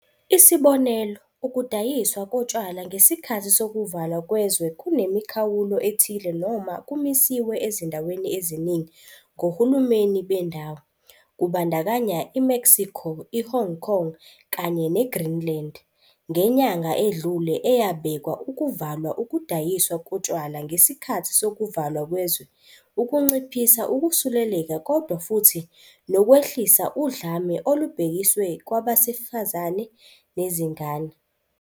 Isibonelo, ukudayiswa kotshwala ngesikhathi sokuvalwa kwezwe kunemikhawulo ethile noma kumisiwe ezindaweni eziningi ngohulumeni bendawo, kubandakanya i-Mexico, i-Hong Kong kanye neGreenland, ngenyanga edlule eyabeka ukuvalwa ukudayiswa kotshwala ngesikhathi sokuvalwa kwezwe ukunciphisa ukusuleleka kodwa futhi 'nokwehlisa udlame olubhekiswe kwabesifazane nezingane.'